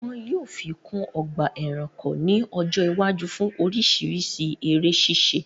Wọn yóò fi kún ọgbà ẹranko ní ọjọ́ iwájú fún oríṣiríṣi eré ṣíṣe